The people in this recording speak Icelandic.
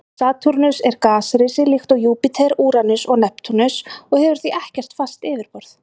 Satúrnus er gasrisi líkt og Júpíter, Úranus og Neptúnus og hefur því ekkert fast yfirborð.